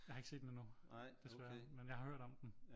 Jeg har ikke set den endnu desværre men jeg har hørt om den